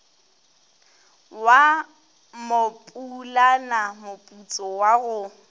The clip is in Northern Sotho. wa mopulana moputso wa go